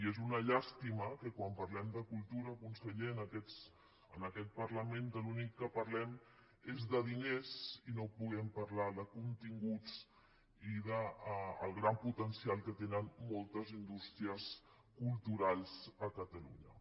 i és una llàstima que quan parlem de cultura conseller en aquest parlament de l’únic que parlem és de diners i no puguem parlar de continguts ni del gran potencial que tenen moltes indústries culturals a catalunya